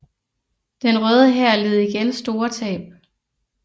Den Røde Hær led igen store tab